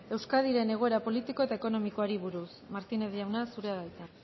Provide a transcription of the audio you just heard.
euskadiren egoera politiko eta ekonomikoari buruz martínez jauna zurea da hitza